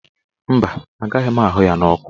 Mba, agaghị m ahụ ya n'ọkụ.